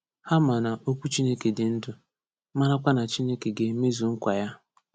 Ha ma na “okwu Chineke dị ndụ”, marakwa na Chineke ga-emezu nkwa ya.